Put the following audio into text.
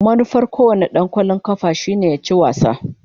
Manufar kowane dan wasan kwallon kafa shine ya ci wasa.